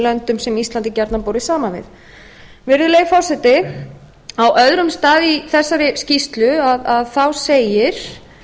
löndum sem ísland er gjarnan borið saman við virðulegi forseti á öðrum stað í þessari skýrslu segir